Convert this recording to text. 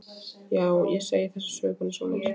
Já, ég segi þessa sögu bara einsog hún er.